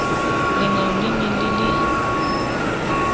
lengau le ne le le